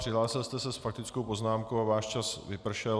Přihlásil jste se s faktickou poznámkou a váš čas vypršel.